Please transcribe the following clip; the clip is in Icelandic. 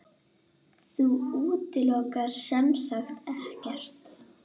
Þú útilokar semsagt ekkert?